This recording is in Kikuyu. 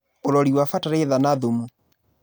Ũrori wa Bataraitha na thumu.